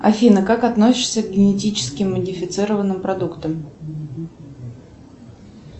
афина как относишься к генетически модифицированным продуктам